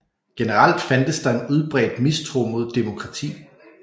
Generelt fandtes der en udbredt mistro mod demokrati